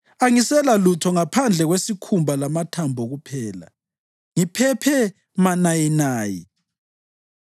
Angiselalutho ngaphandle kwesikhumba lamathambo kuphela; ngiphephe manayinayi.